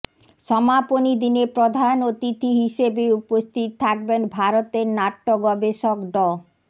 সমাপনী দিনে প্রধান অতিথি হিসেবে উপস্থিত থাকবেন ভারতের নাট্য গবেষক ড